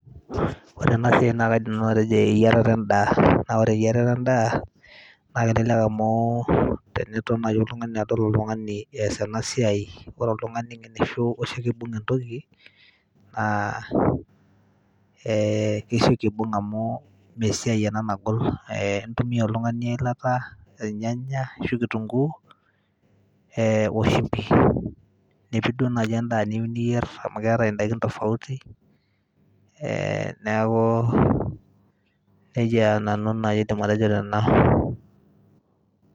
ore ena siai naa kaidim nanu atejo eyierat endaa, naa ore eyirata endaa naa kelekek amuu, teniton naji adol oltung'ani easita ena siai ore oltung'ani oshi osioki aibung entoki, naa kesioki aibung' amuu mee esiai ena nagol amuu intumia oltung'ani eilata inyanya ashu kitunguu o shimbi nipik naji duo endaa niyieu ninyer amu keetae indaiki tofauti neaku nejia naaji nau aidim atejo tena.